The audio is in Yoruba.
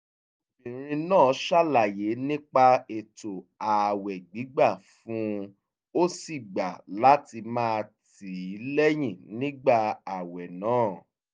obìnrin náà ṣàlàyé nípa ètò ààwẹ̀ gbígbà fún un ó sì gbà láti máa tì í lẹ́yìn nígbà ààwẹ̀ náà